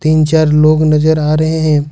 तीन चार लोग नजर आ रहे हैं।